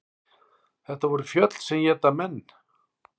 Þetta voru fjöll sem éta menn.